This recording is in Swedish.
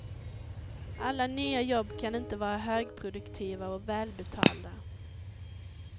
Alla nya jobb kan inte vara högproduktiva och välbetalda.